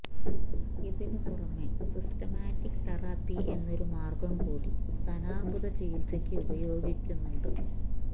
ഇതിന് പുറമെ systematic therapy എന്നൊരു മാര്ഗം കൂടി സ്തനാര്ബുദ ചികിത്സയ്ക്ക് ഉപയോഗിക്കുന്നുണ്ട്